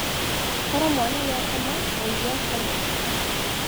Koro mwana nĩakoma mũige akome.